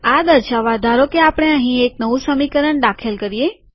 આ દર્શાવવા ધારોકે આપણે અહીં એક નવું સમીકરણ દાખલ કરીએ